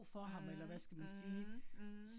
Mh mh mh